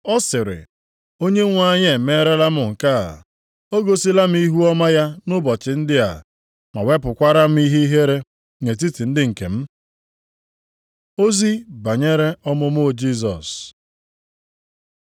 Ọ sịrị, “Onyenwe anyị emeerela m nke a. O gosila m ihuọma ya nʼụbọchị ndị a, ma wepụkwara m ihere nʼetiti ndị nke m.” Ozi banyere ọmụmụ Jisọs